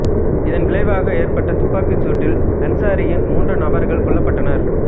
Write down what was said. இதன் விளைவாக ஏற்பட்ட துப்பாக்கிச் சூட்டில் அன்சாரியின் மூன்று நபர்கள் கொல்லப்பட்டனர்